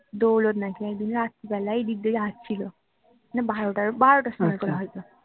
দৌলত নাকি একদিন রাত্তি বেলায় এদিক দিয়ে আসছিলো মানে বারোটা বারোটার সময় করে হয় তো